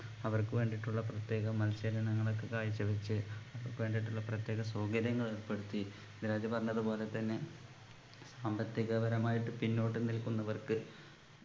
അവർക്ക് വേണ്ടിയിട്ടുള്ള പ്രത്യേക മത്സരയിനങ്ങളൊക്കെ കാഴ്ചവച്ച് അവർക്ക് വേണ്ടിയിട്ടുള്ള പ്രത്യേക സൗകര്യങ്ങൾ ഏർപ്പെടുത്തി മിദ്‌ലാജ് പറഞ്ഞതുപോലെ തന്നെ സാമ്പത്തിക പരമായിട്ട് പിന്നോട്ട് നിൽക്കുന്നവർക്ക്